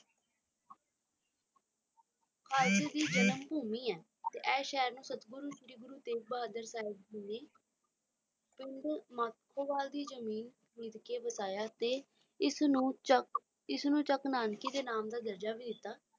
ਘਾਇਲ ਦੀ ਜਨਮ ਭੂਮੀ ਹੈ ਤੇ ਏਸ ਸ਼ਹਿਰ ਨੂੰ ਤੇਗ ਬਹਾਦਰ ਸਾਹਿਬ ਭੂਮੀ ਮਾਖੋਵਾਲ ਦੀ ਜ਼ਮੀਨ ਵੇਚ ਕੇ ਵਧਾਇਆ ਤੇ ਇਸ ਨੂੰ ਚੱਕ ਨਾਨਕੀ ਦੇ ਨਾਮ ਦਾ ਦਰਜਾ ਵੀ ਦਿੱਤਾ